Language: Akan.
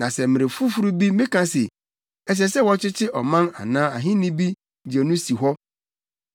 Na sɛ mmere foforo bi meka se, ɛsɛ sɛ wɔkyekye ɔman anaa ahenni bi gye no si hɔ,